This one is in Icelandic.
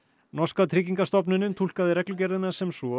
norska tryggingastofnunin túlkaði reglugerðina sem svo